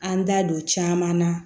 An da don caman na